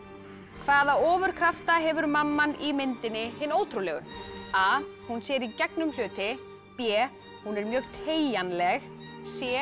hvaða ofurkrafta hefur mamman í myndinni Hin ótrúlegu a hún sér í gegnum hluti b hún er mjög teygjanleg c